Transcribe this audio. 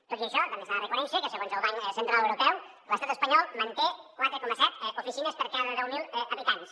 tot i això també s’ha de reconèixer que segons el banc central europeu l’estat espanyol manté quatre coma set oficines per cada deu mil habitants